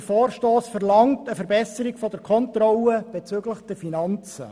Der Vorstoss verlangt eine Verbesserung der Kontrolle bezüglich der Finanzen.